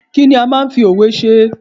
Kí ni a máa ń fi òwe ṣe?